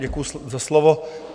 Děkuju za slovo.